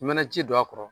I mana ji don a kɔrɔ